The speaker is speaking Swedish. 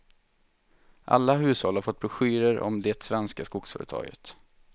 Alla hushåll har fått broschyrer om det svenska skogsföretaget.